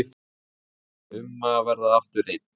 Um að verða aftur einn.